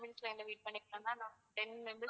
two minutes line ல wait பண்ணீங்கன்னா